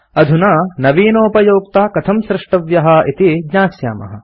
अधुना नवीनोपयोक्ता कथं स्रष्टव्यः इति ज्ञास्यामः